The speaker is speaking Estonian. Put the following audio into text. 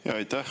Aitäh!